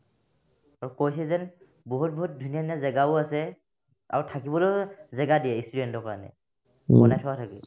আৰু কৈছে যেন বহুত বহুত ধুনীয়া ধুনীয়া জেগাও আছে আৰু থাকিবলৈও জাগা দিয়ে ই student ৰ কাৰণে বনাই থোৱা থাকে